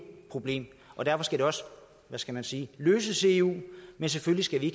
problem og derfor skal det også hvad skal man sige løses i eu men selvfølgelig skal vi